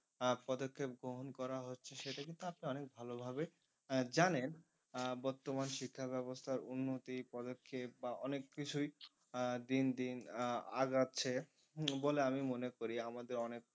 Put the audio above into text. আহ পদক্ষেপ গ্রহণ করা হচ্ছে সেটা কিন্তু আপনি অনেক ভালো ভাবে আহ জানেন আহ বর্তমান শিক্ষা ব্যবস্থার উন্নতি পদক্ষেপ বা অনেক কিছুই আহ দিন দিন আহ আগাচ্ছে হম বলে আমি মনে করি আমাদের অনেক